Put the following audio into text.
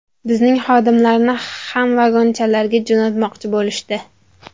Bizning xodimlarni ham ‘vagonchalar’ga jo‘natmoqchi bo‘lishdi.